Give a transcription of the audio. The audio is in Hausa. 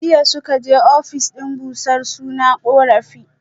Jiya suka je office din bursar suna korafi